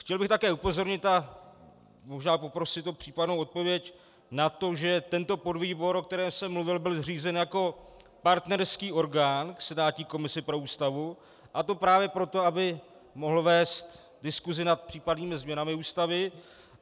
Chtěl bych také upozornit a možná poprosit o případnou odpověď na to, že tento podvýbor, o kterém jsem mluvil, byl zřízen jako partnerský orgán k senátní komisi pro Ústavu, a to právě proto, aby mohl vést diskusi nad případnými změnami Ústavy.